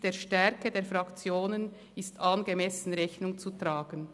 «Der Stärke der Fraktionen ist angemessen Rechnung zu tragen.».